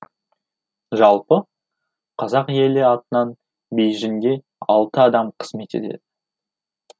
жалпы қазақ елі атынан бейжіңде алты адам қызмет етеді